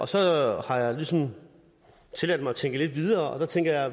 så har jeg ligesom tilladt mig at tænke lidt videre og der tænker jeg